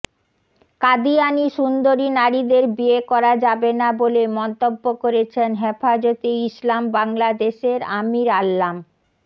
কাদিয়ানী সুন্দরী নারীদের বিয়ে করা যাবে না বলে মন্তব্য করেছেন হেফাজতে ইসলাম বাংলাদেশের আমির আল্লাম